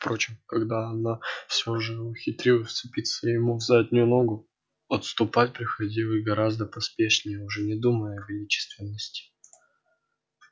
впрочем когда она всё же ухитрялась вцепиться ему в заднюю ногу отступать приходилось гораздо поспешнее уже не думая о величественности